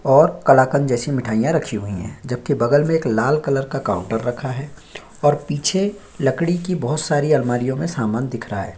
और कलाकंद जैसी मिठाइयाँ रखी हुई है जब के बगल में एक लाल कलर का काउंटर रखा है और पीछे लकड़ी की बहुत सारी अलमारियों में समान दिख रहा हैं।